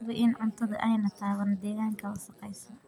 Hubi in cuntadu aanay taaban deegaanka wasakhaysan.